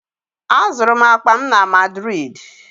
Azụrụ m akpa m na Madrịdị